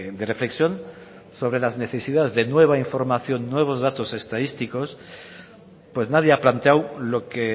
de reflexión sobre las necesidades de nueva información nuevos datos estadísticos pues nadie ha planteado lo que